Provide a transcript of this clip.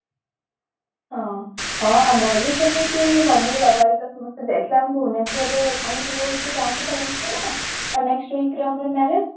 ହଁ ଆମର ବି ସେମିତି mummy ବାବା ହେରିକା ସମସ୍ତେ ଯାଇଥିଲେ ଆମେ ଭୁବନେଶ୍ବରରେ ଆମେ ସବୁ ଏଇନ ଗାଁକୁ ପଳେଇ ଆସିଛୁ ନା next week ରେ ଆମର marriage